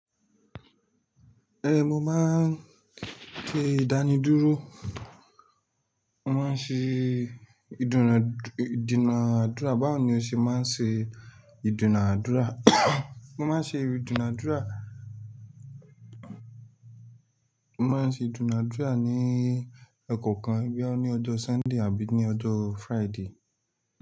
Eh, mo máa ń te ìdánidúró, mo máa ń ṣe ìdùnàd ìdùnàdúrà. Báwo ni o ṣe máa ń ṣe ìdùnàdúrà? Mo má a ń ṣe ìdùnàdúrà, mo má a ń ṣe ìdùnàdúrà ní ọ̀kọ̀ọ̀kan, bi ya ni ọjọ́ Sunday àbí ní ọjọ́ Friday.